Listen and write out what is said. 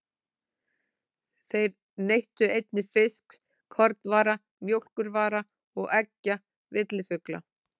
Þeir neyttu einnig fisks, kornvara, mjólkurvara og eggja villifugla.